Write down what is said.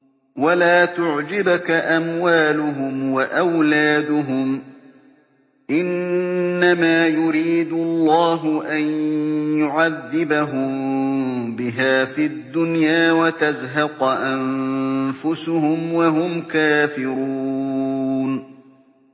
وَلَا تُعْجِبْكَ أَمْوَالُهُمْ وَأَوْلَادُهُمْ ۚ إِنَّمَا يُرِيدُ اللَّهُ أَن يُعَذِّبَهُم بِهَا فِي الدُّنْيَا وَتَزْهَقَ أَنفُسُهُمْ وَهُمْ كَافِرُونَ